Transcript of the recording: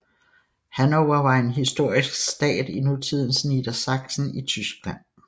Hannover var en historisk stat i nutidens Niedersachsen i Tyskland